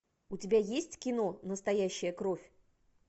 у тебя есть кино настоящая кровь